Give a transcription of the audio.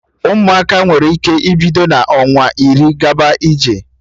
Ụmụaka nwere ike ibido n'ọnwa iri gaba ije